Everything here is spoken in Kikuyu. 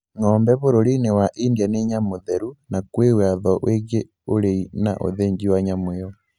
Ng'ombe bũrũri-inĩ wa India ni nyamũ theru na kwĩ watho wĩgiĩ ũrĩi na ũthĩnji wa nyamũ ĩyo